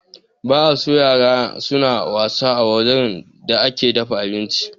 Ba a son yara suna wasa a wurin da ake dafa abinci